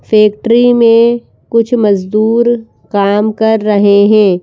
Factory में कुछ मजदूर काम कर रहे हैं।